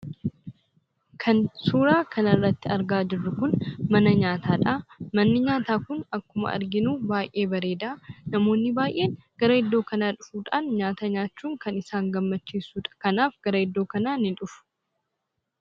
Kan suuraa kanarratti argaa jirru kun suuraa mana nyaataadha. Manni nyaataa kun akkuma arginu baay'ee bareeda. Namoonni baay'een gara iddoo kanaa dhufuudhaan nyaata nyaachuun kan isaan gammachiisudha. Kanaaf gara iddoo kanaa ni dhufu.